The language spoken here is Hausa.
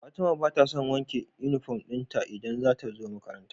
Fatima batason wanke inufom dinta idan zatazo makaranta